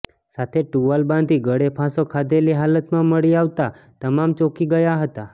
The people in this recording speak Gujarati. સાથે ટુવાલ બાંધી ગળે ફાંસો ખાધેલી હાલતમાં મળી આવતા તમામ ચોકી ગયા હતા